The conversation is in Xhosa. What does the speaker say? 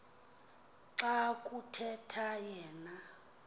xa kuthetha yena